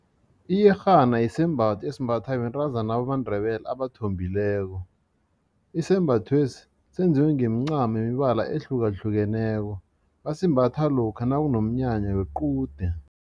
Iyerhana sisembatho esimbathwa bentazana bamaNdebele abathombileko isembathwesi senziwe ngemincamo yemibala ehlukahlukeneko basimbatha lokha nakunomnyanya wequde.